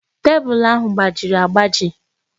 Tebụl ahụ gbajiri agbaji.